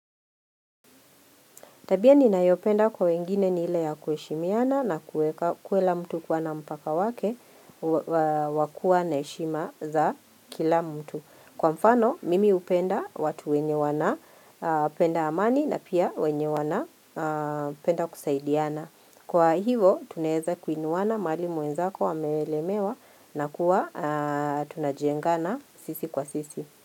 Tabia ninayopenda kwa wengine nile ya kuheshimiana na kuwe kula mtu kuwa na mpaka wake wakua na heshima za kila mtu. Kwa mfano, mimi upenda watu wenye wana penda amani na pia wenye wana penda kusaidiana. Kwa hivo, tunaeza kuinuana mahali mwenzako amelemewa na kuwa tunajengana sisi kwa sisi.